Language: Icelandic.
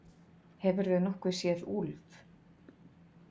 Hefurðu nokkuð séð Úlf?